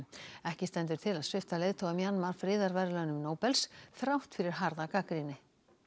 ekki stendur til að svipta leiðtoga Mjanmar friðarverðlaunum Nóbels þrátt fyrir harða gagnrýni